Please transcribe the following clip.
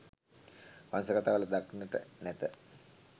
වංශ කථා වල දක්නට නැත.